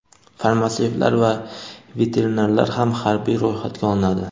farmatsevtlar va veterinarlar ham harbiy ro‘yxatga olinadi.